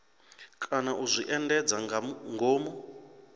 kana u zwi endedza ngomu